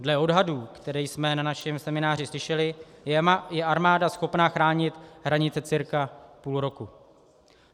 Dle odhadů, které jsme na našem semináři slyšeli, je armáda schopna chránit hranice cirka půl roku.